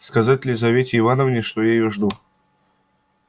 сказать лизавете ивановне что я её жду